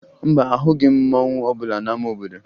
Mba, ahụghị m mmanwụ ọbụla n'ama obodo